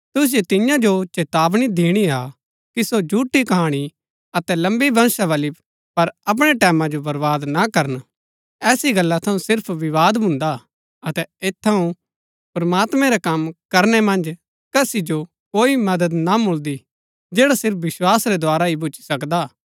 तुसिओ तिन्या जो चेतावनी दिणा हा कि सो झूठी कहाणी अतै लम्बी वंशावली पर अपणै टैमां जो बर्वाद ना करन ऐसी गल्ला थऊँ सिर्फ विवाद भून्दा हा अतै ऐत थऊँ प्रमात्मैं रै कम करनै मन्ज कसी जो कोई मदद ना मिलदी जैड़ा सिर्फ विस्वास रै द्धारा ही भूच्ची सकदा हा